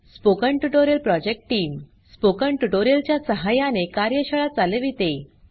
spoken tutorial project team spoken tutorial च्या सहाय्याने कार्यशाळा चालविते